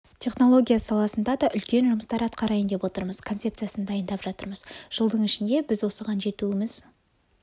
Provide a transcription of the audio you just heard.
технологиясы саласында да үлкен жұмыстар атқарайын деп отырмыз концепциясын дайындап жатырмыз жылдың ішінде біз осыған жетуіміз